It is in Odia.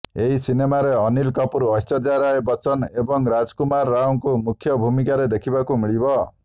ଏହି ସିନେମାରେ ଅନୀଲ୍ କପୁର୍ ଐଶ୍ୱର୍ଯ୍ୟା ରାୟ ବଚ୍ଚନ ଏବଂ ରାଜକୁମାର୍ ରାଓଙ୍କୁ ମୁଖ୍ୟ ଭୂମିକାରେ ଦେଖିବାକୁ ମିଳିବ